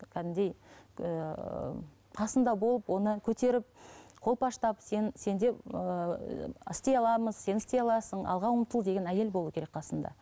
кәдімгідей ііі қасында болып оны көтеріп қолпаштап сен сенде ііі істей аламыз сен істей аласың алға ұмтыл деген әйел болу керек қасында